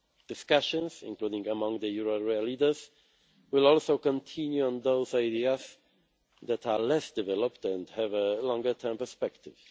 Discussions, including among the euro area leaders, will also continue on those ideas that are less developed and have a longer term perspective.